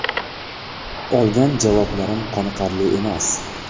Olgan javoblarim qoniqarli emas.